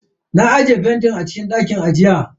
Na aje fentin a cikin dakin ajiya.